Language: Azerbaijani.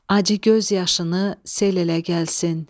Acı göz yaşını sel elə gəlsin.